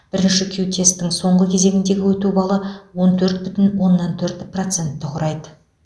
бірінші кю тесттің соңғы кезеңіндегі өту балы он төрт бүтін оннан төрт процентті құрайды